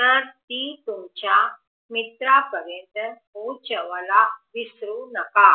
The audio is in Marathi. तर ती तुमच्या मित्रपरेंतल्या पोचवायला विसरू नका